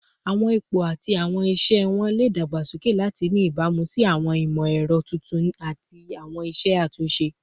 Awọn ipo ati awọn iṣẹ wọn le dagbasoke lati ni ibamu si awọn imọ-ẹrọ tuntun ati awọn iṣe atunṣe